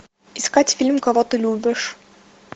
искать фильм кого ты любишь